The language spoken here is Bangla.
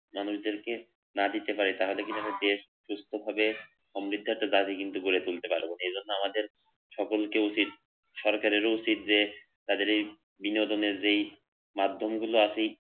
মানুষদেরকে না দিতে পারে তাহলে কি হবে যে সুস্থভাবে সমৃদ্ধ একটা বাড়ি কিন্তু গড়ে তুলতে পারব। এজন্য আমাদের সকলকে উচিত সরকারেরও উচিত যে তাদের এই বিনোদনের যেই মাধ্যমগুলো আছে